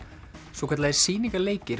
svokallaðir